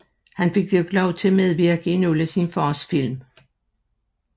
Han fik dog lov til at medvirke i nogle af sin fars film